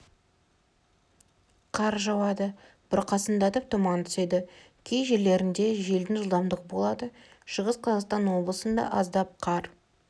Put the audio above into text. қар жауады бұрқасындатып тұман түседі кей жерлерінде желдің жылдамдығы болады шығыс қазақстан облысында аздап қар